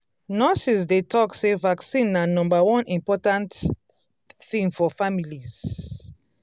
nurses dey talk say vaccine na number one important thing for families.